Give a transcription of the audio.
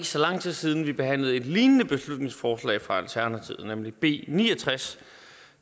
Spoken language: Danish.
så lang tid siden vi behandlede et lignende beslutningsforslag fra alternativet nemlig b ni og tres